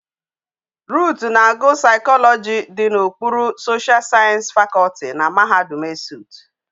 Ruth na agu psychology di na okpuru social science faculty na mahadum ESUT